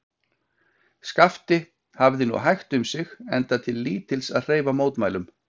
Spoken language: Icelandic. Skapti hafði nú hægt um sig, enda til lítils að hreyfa mótmælum.